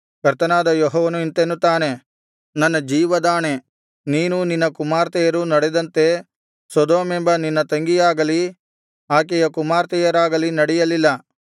ಕರ್ತನಾದ ಯೆಹೋವನು ಇಂತೆನ್ನುತ್ತಾನೆ ನನ್ನ ಜೀವದಾಣೆ ನೀನೂ ನಿನ್ನ ಕುಮಾರ್ತೆಯರೂ ನಡೆದಂತೆ ಸೊದೋಮೆಂಬ ನಿನ್ನ ತಂಗಿಯಾಗಲಿ ಆಕೆಯ ಕುಮಾರ್ತೆಯರಾಗಲಿ ನಡೆಯಲಿಲ್ಲ